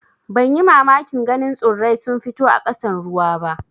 Ban yi mamakin ganin tsurrai sun fito a ƙasan ruwa ba.